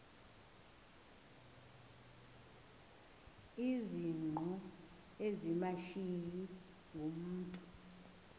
izingqu ezimashiyi ngumntu